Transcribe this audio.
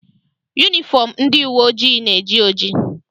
Yunifọm ndị uwe ojii na-eji oji.